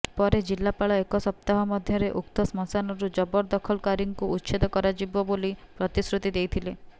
ପରେ ଜିଲ୍ଲାପାଳ ଏକ ସପ୍ତାହ ମଧ୍ୟରେ ଉକ୍ତ ଶ୍ମଶାନରୁ ଜବରଦଖଲକାରୀଙ୍କୁ ଉଚ୍ଛେଦ କରାଯିବ ବୋଲି ପ୍ରତିଶ୍ରୁତି ଦେଇଥିଲେ